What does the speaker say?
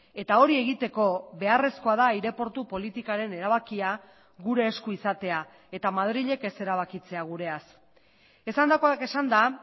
eta hori egiteko beharrezkoa da aireportu politikaren erabakia gure esku izatea eta madrilek ez erabakitzea gureaz esandakoak esanda